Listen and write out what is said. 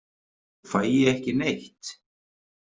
Fæ ég ekki neitt?